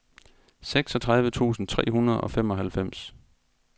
seksogtredive tusind tre hundrede og femoghalvfems